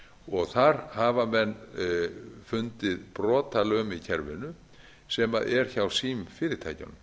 lögreglu þar hafa menn fundið brotalöm í kerfinu sem er hjá símfyrirtækjunum